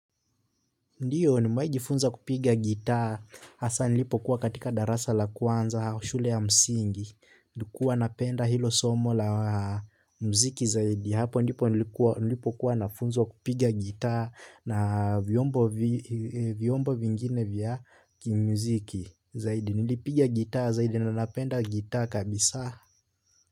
Ndiyo nimewahi kupiga gitaa, hasaa nilipokuwa katika darasa la kwanza shule ya msingi nilikuwa napenda hilo somo la muziki zaidi ya hapo ndipo nilipokuwa nafunzwa kupiga gitaa na vyombo vyombo vingine vya kimuziki zaidi, nilipigia gitaa zaidi na napenda gitaa kabisa.